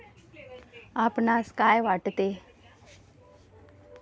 आपणास काय वाटते?